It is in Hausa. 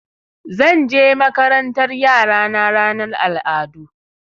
Zan je makarantar yara na ranar al'adu.